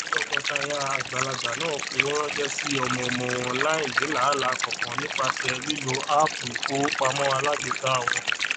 tọkọtaya àgbàlagbà náà fowóránṣé sí ọmọọmọ wọn láìní làálàá kankan nípasẹ lílo áápù ifowópamọ alágbèéká wọn